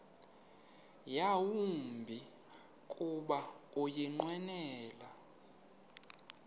yawumbi kuba ukunqwenela